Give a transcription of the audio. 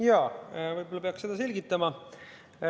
Jaa, võib-olla peaks seda selgitama.